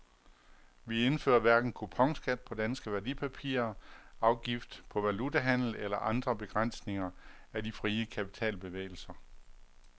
Vi indfører hverken kuponskat på danske værdipapirer, afgift på valutahandel eller andre begrænsninger af de frie kapitalbevægelser.